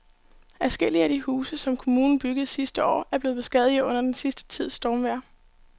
Adskillige af de huse, som kommunen byggede sidste år, er blevet beskadiget under den sidste tids stormvejr.